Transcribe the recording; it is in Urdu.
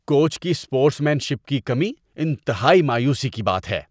کوچ کی اسپورٹس مین شپ کی کمی انتہائی مایوسی کی بات ہے۔